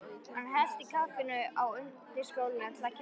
Hann hellti kaffinu á undirskálina til að kæla það.